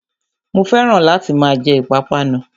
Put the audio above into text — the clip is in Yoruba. Mo fẹ́ràn láti máa jẹ ìpápánu